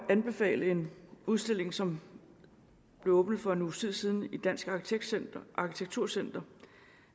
at anbefale en udstilling som blev åbnet for en uges tid siden i dansk arkitektur center